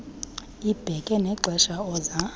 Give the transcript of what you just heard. ibeke nexesha oza